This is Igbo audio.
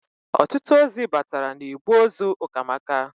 Ọtụtụ ozi bataara n'igbe ozi Ụkamaka.